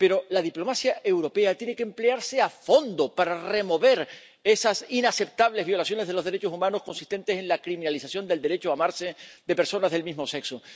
Pero la diplomacia europea tiene que emplearse a fondo para remover esas inaceptables violaciones de los derechos humanos consistentes en la criminalización del derecho a amarse de personas del mismo sexo.